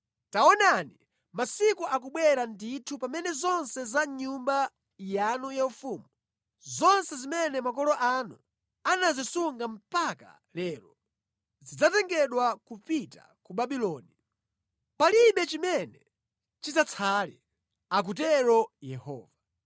Taonani, masiku akubwera ndithu pamene zonse za mʼnyumba yanu yaufumu, zonse zimene makolo anu anazisunga mpaka lero, zidzatengedwa kupita ku Babuloni. Palibe chimene chidzatsale, akutero Yehova.